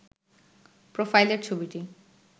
প্রোফাইলের ছবিটি